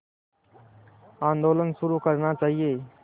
आंदोलन शुरू करना चाहिए